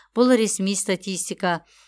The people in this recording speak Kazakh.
бұл ресми статистика